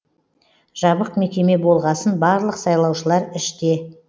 жабық мекеме болғасын барлық сайлаушылар іште